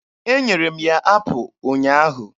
Enyere m ya apụ ụnyaahụ.